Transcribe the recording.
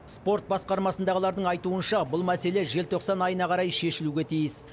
спорт басқармасындағылардың айтуынша бұл мәселе желтоқсан айына қарай шешілуге тиіс